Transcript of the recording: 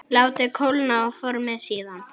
Látið kólna og formið síðan.